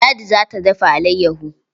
Ladi za ta dafa alayyaho.